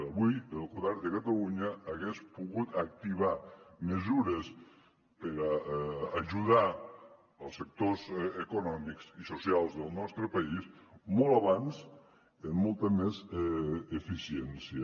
avui el govern de catalunya hagués pogut activar mesures per ajudar els sectors econòmics i socials del nostre país molt abans amb molta més eficiència